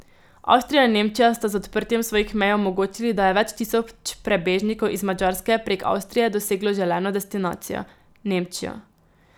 Avstrija in Nemčija sta z odprtjem svojih mej omogočili, da je več tisoč prebežnikov iz Madžarske prek Avstrije doseglo želeno destinacijo, Nemčijo.